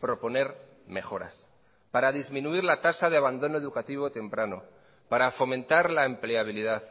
proponer mejoras para disminuir la tasa de abandono educativo temprano para fomentar la empleabilidad